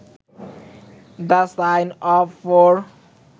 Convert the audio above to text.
the sign of four